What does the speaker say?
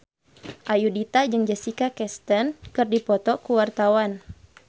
Ayudhita jeung Jessica Chastain keur dipoto ku wartawan